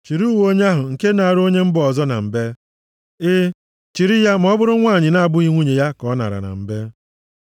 Chịrị uwe onye ahụ nke naara onye mba ọzọ na mbe. E, chiri ya ma ọ bụrụ nwanyị na-abụghị nwunye ya ka o nara na mbe.